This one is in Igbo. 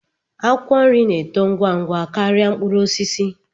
Akwụkwọ nri na-eto ngwa ngwa karịa mkpụrụ osisi